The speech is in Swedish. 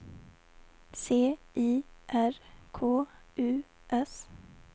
C I R K U S